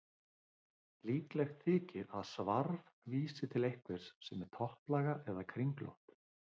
Líklegt þykir að svarf vísi til einhvers sem er topplaga eða kringlótt.